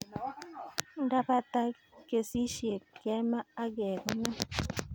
Ndapata kesishet kemaa ak kekonor